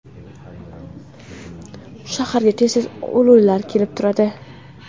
Shaharga tez-tez lo‘lilar kelib turadi.